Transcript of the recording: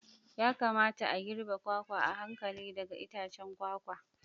Ya kamata a girbe kwakwa a hankali daga itacen kwakwa.